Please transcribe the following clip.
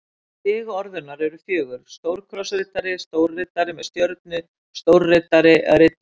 Stig orðunnar eru fjögur: stórkrossriddari stórriddari með stjörnu stórriddari riddari